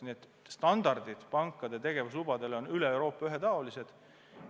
Eks pankade tegevuslubade standardid on üle Euroopa ühetaolised.